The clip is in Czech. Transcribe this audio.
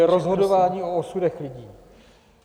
To je rozhodování o osudech lidí.